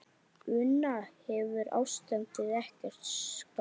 Una, hefur ástandið ekkert skánað?